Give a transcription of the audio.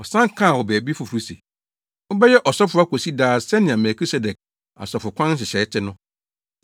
Ɔsan kaa wɔ baabi foforo se, “Wobɛyɛ ɔsɔfo akosi daa sɛnea Melkisedek asɔfokwan nhyehyɛe te no.”